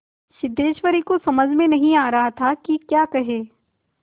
सिद्धेश्वर की समझ में नहीं आ रहा था कि क्या कहे